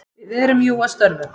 Við erum jú að störfum.